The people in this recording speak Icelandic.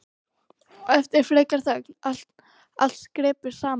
Og eftir frekari þögn: Allt skreppur saman